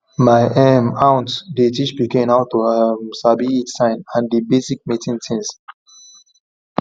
my um aunt dey teach pikin how to um sabi heat sign and basic mating things